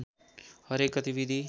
हरेक गतिविधि